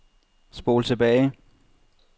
spol tilbage